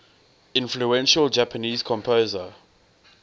influential japanese composer